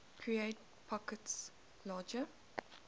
create packets larger